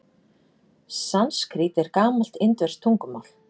Sanskrít er gamalt indverskt tungumál.